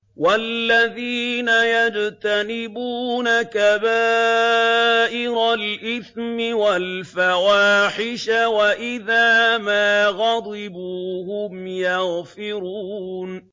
وَالَّذِينَ يَجْتَنِبُونَ كَبَائِرَ الْإِثْمِ وَالْفَوَاحِشَ وَإِذَا مَا غَضِبُوا هُمْ يَغْفِرُونَ